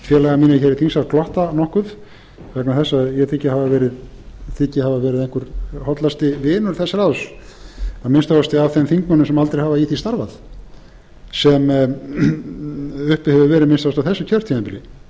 hér í þingsal glotta nokkuð vegna þess að ég þyki hafa verið einhver hollasti vinur þess ráðs að minnsta kosti af þeim þingmönnum sem aldrei hafa í því starfað sem uppi hefur verið að minnsta kosti á þessu kjörtímabili og sér